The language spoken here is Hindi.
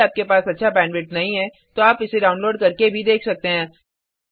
यह स्पोकन ट्यटोरियल प्रोजेक्ट को सारांशित करता है